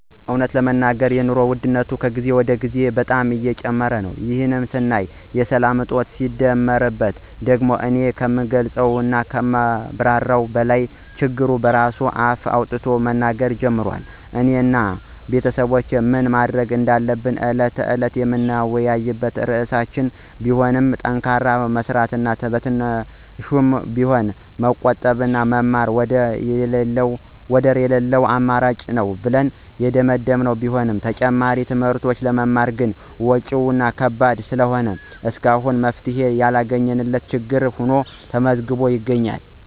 እውነት ለመናገር የኑሮ ውድነቱ ከጊዜ ወደ ጊዜ በጣም በእጅጉ እየጨመረ ነው፤ ይህ ሳያንስ የሰላም እጦቱ ሲደመርበት ደግሞ እኔ ከምገልፀው እና ከማብራራው በላይ ችግሩ በራሱ አፍ አውጥቶ መናገር ጀምሯል። እኔ እና ቤተሰቦቼ ምን ማድረግ እንዳለብን ዕለት ተዕለት የምንወያይበት ርዕሳችን ቢሆንማ ጠንክሮ መስራት እና በትንሿም ቢሆን መቆጠብና መማር ወደር የለለው አማራጭ ነው ብለን የደመደመን ቢሆንም ተጨማሪ ትምህርቶችን ለመማር ግን ወጭው ከባድ ስለሆነ እስካሁን መፍትሔ ያላገኘንለት ችግር ሁኖ ተመዝግቦ ይገኛል።